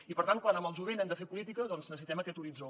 i per tant quan amb el jovent hem de fer polítiques necessitem aquest horitzó